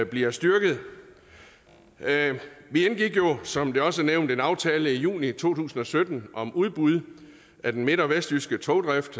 bliver styrket vi indgik jo som det også er nævnt en aftale i juni to tusind og sytten om udbud af den midt og vestjyske togdrift